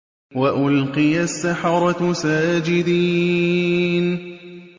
وَأُلْقِيَ السَّحَرَةُ سَاجِدِينَ